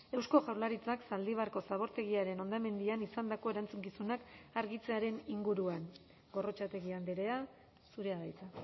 eusko jaurlaritzak zaldibarko zabortegiaren hondamendian izandako erantzukizunak argitzearen inguruan gorrotxategi andrea zurea da hitza